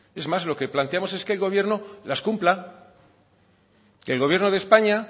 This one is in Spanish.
es más lo que planteamos es que el gobierno las cumpla que el gobierno de españa